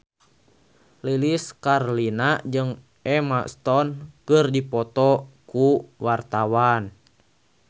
Lilis Karlina jeung Emma Stone keur dipoto ku wartawan